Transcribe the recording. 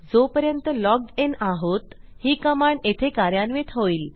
जोपर्यंत लॉग्ड inआहोत ही कमांड येथे कार्यान्वित होईल